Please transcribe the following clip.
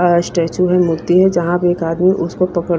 statue है मूर्ती है जहां पर एक आदमी उसको पकड़--